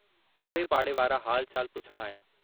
झमटमल घर अची वियो।